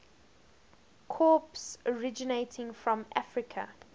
crops originating from africa